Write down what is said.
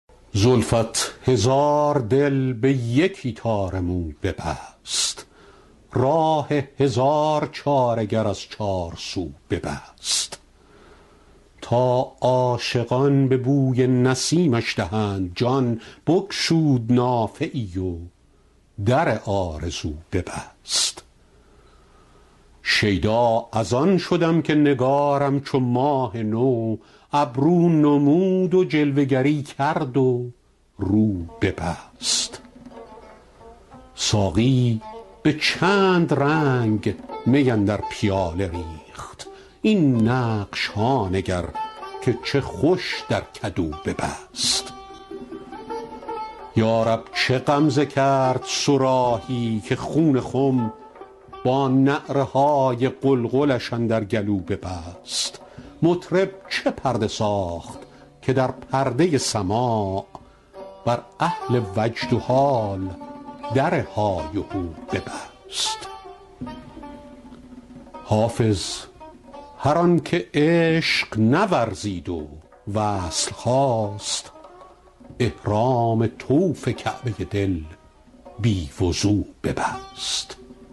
زلفت هزار دل به یکی تار مو ببست راه هزار چاره گر از چارسو ببست تا عاشقان به بوی نسیمش دهند جان بگشود نافه ای و در آرزو ببست شیدا از آن شدم که نگارم چو ماه نو ابرو نمود و جلوه گری کرد و رو ببست ساقی به چند رنگ می اندر پیاله ریخت این نقش ها نگر که چه خوش در کدو ببست یا رب چه غمزه کرد صراحی که خون خم با نعره های قلقلش اندر گلو ببست مطرب چه پرده ساخت که در پرده سماع بر اهل وجد و حال در های وهو ببست حافظ هر آن که عشق نورزید و وصل خواست احرام طوف کعبه دل بی وضو ببست